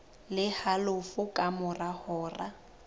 le halofo ka mora hora